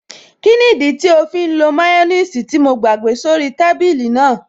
Kí nìdí tí ó fí ń lo máyọ́nìsì tí mo gbàgbé sí orí í tábìlì náà?